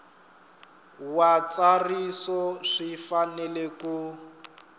wa ntsariso swi fanele ku